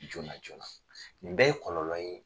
Joona joona nin bɛɛ ye kɔlɔlɔ ye.